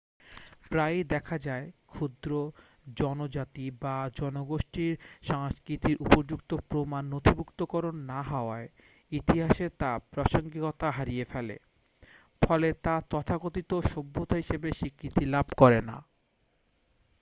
প্রায়ই দেখা যায় ক্ষুদ্র জনজাতি বা জনগোষ্ঠীর সংস্কৃতির উপযুক্ত প্রামাণ্য নথিভুক্তিকরণ না হওয়ায় ইতিহাসে তা প্রাসঙ্গিকতা হারিয়ে ফেলে ফলে তা তথাকথিত সভ্যতা হিসাবে স্বীকৃতি লাভ করে না